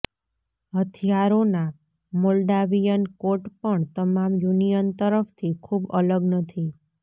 હથિયારોના Moldavian coat પણ તમામ union તરફથી ખૂબ અલગ નથી